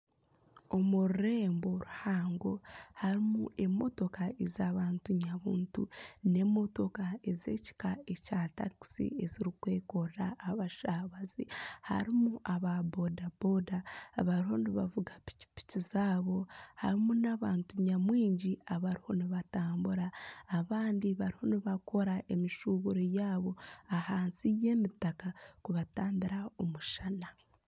Omu rurembo ruhango harimu emotoka ez'abantu nyabuntu n'emotoka n'emotoka ez'ekika kya takisi ezirikwekorera abashabaaze harimu aba bodaboda abariho nibavuga pikipiki zaabo harimu n'abantu nyamwingi abarimu nibatambura abandi bariho nibakiira emishuburo yaabo ahansi y'emitaka kubatambira omushana .